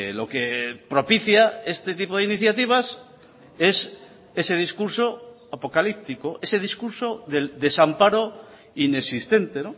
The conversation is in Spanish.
lo que propicia este tipo de iniciativas es ese discurso apocalíptico ese discurso del desamparo inexistente